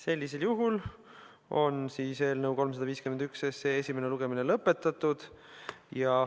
Eelnõu 351 esimene lugemine on lõpetatud.